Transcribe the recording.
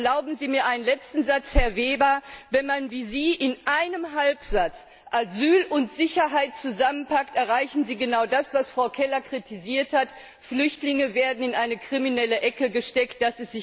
Erlauben Sie mir einen letzten Satz Herr Weber, wenn man wie Sie in einem Halbsatz Asyl und Sicherheit zusammenpackt, erreichen Sie genau das, was Frau Keller kritisiert hat, nämlich dass Flüchtlinge in eine kriminelle Ecke gesteckt werden.